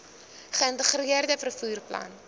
geïntegreerde vervoer plan